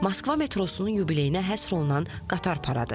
Moskva metrosunun yubileyinə həsr olunan qatar paradı.